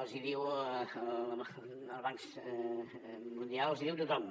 els hi diuen els bancs mundials els hi diu tothom